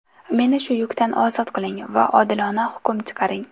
Meni shu yukdan ozod qiling va odilona hukm chiqaring.